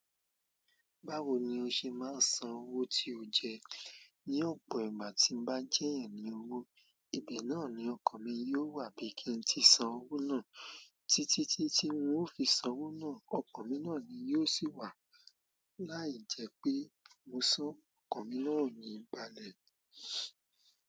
Báwo ni o ṣe máa ń san owó tí o jẹ ní ọ̀pọ̀ ìgbà tí ń bá jẹ́ ẹ̀ yan ní owó. Ibe náà ni okan mi yi o wa bi ki n ti san owo na títí tí tí un o fi san owó náà, ọkan mi náà ni yóò sì wà. Láì jẹ́ pé mo san, ọkan mi náà ò ní balẹ̀.